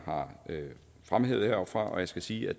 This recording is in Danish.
har fremhævet heroppefra og jeg skal sige at